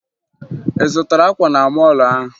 Ị zụtara akwa na mọọlụ ahụ?